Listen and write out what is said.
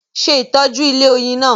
Se itoju ilẹ̀ oyin naa